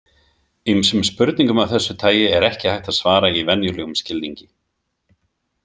Ýmsum spurningum af þessu tagi er ekki hægt að „svara“ í venjulegum skilningi.